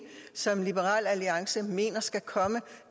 som liberal alliance mener skal komme